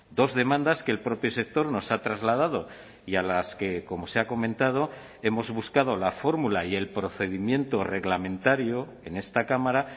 dos demandas que el propio sector nos ha trasladado y a las que como se ha comentado hemos buscado la fórmula y el procedimiento reglamentario en esta cámara